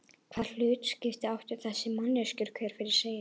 Hvaða hlutskipti áttu þessar manneskjur hver fyrir sig?